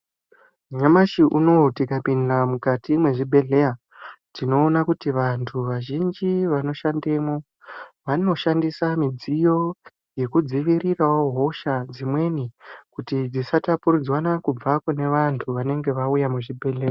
Nyamashi unou tikapinda mukati mwezvibhedhleya tinoona kuti vanhu vazhinji vanoshandemwo vanoshandisa midziyo yekudzivirirawo hosha dzimweni kuti dzisapapuridzwana kuti kune vantu vanenge vauya kuzvibhedhleya